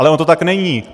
Ale ono to tak není!